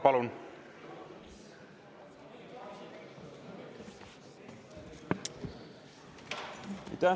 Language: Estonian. Palun!